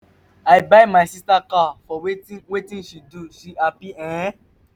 i buy my sister car for wetin wetin she do she happy ee.